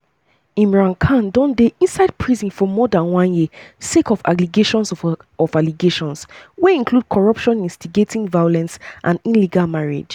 imran khan don dey inside prison for more dan one year sake of allegations of allegations wey include corruption instigating violence and illegal marriage.